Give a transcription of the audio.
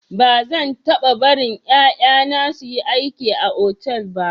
Ba zan taba barin yaya na su yi aiki a otal ba.